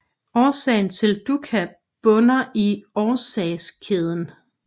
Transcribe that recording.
Årsagen til dukkha bunder i årsagskæden